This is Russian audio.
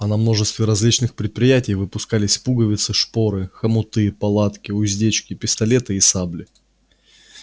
а на множестве различных предприятий выпускались пуговицы шпоры хомуты палатки уздечки пистолеты и сабли